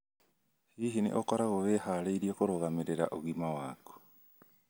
Hihi nĩ ũkoragwo wĩhaarĩirie kũrũgamĩrĩra ũgima waku?